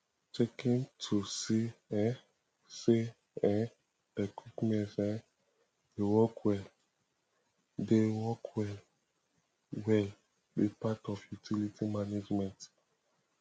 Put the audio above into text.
checkin to see um say um equipments um dey work well dey work well well be part of utility management